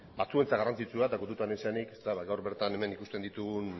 batzuentzat garrantzitsua eta kontutan izanik ba gaur bertan hemen ikusten ditugun